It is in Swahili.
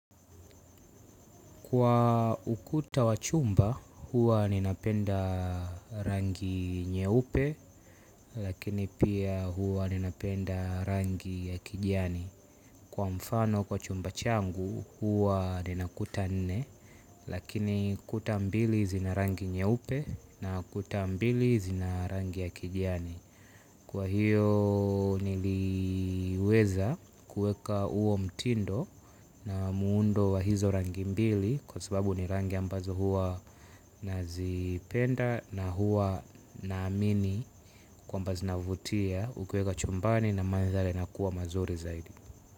Kwa ukuta wa chumba, huwa ninapenda rangi nyeupe, lakini pia huwa ninapenda rangi ya kijani. Kwa mfano kwa chumba changu, huwa nina kuta nene, lakini kuta mbili zina rangi nyeupe na kuta mbili zina rangi ya kijani. Kwa hiyo niliweza kuweka huo mtindo na muundo wa hizo rangi mbili kwa sababu ni rangi ambazo huwa nazipenda na huwa naamini kwamba zinavutia ukiweka chumbani na manthari inakuwa mazuri zaidi.